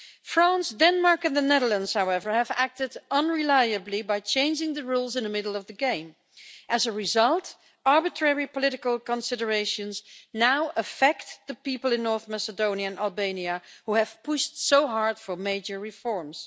France, Denmark and the Netherlands, however, have acted unreliably by changing the rules in the middle of the game. As a result, arbitrary political considerations now affect the people in North Macedonian and Albania, who have pushed so hard for major reforms.